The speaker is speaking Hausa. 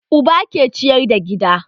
Uba ke ciyar da gida